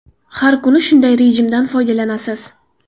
Har kun shunday rejimdan foydalanasiz.